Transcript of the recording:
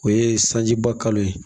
O ye sanji bakalo ye